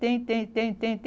Tem, tem, tem, tem,